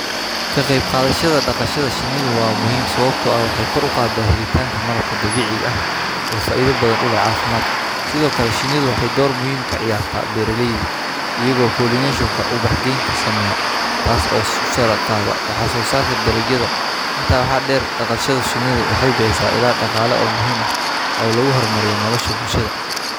Kaa qayb qaadayshada dhaqashada shanidu waa muhiim sababtoo ah waxay kor u qaad daahliitaanka malabka dabiici ah oo faaiido badan u leh caafimaad, sidoo kale shanidu waxay door muhiim ka ciyaarta beerarleyda iyagoo pollination ka ubax gaynta sameya taas oo su saara qaad waxaasoo saarka daligiinta intaa waxa dheer dhaqashada shanidu waxay bixisa ilaa dhaqaale oo muhiima ah oo lagu hormariyo nolosha bulshada.